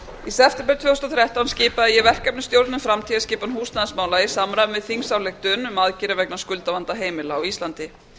í september tvö þúsund og þrettán skipaði ég verkefnisstjórn um framtíðarskipan húsnæðismála í samræmi við þingsályktun um aðgerðir vegna skuldavanda heimila á íslandi